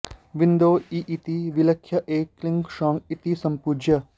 बिन्दौ ईं इति विलिख्य ऐं क्लीं सौः इति सम्पूज्य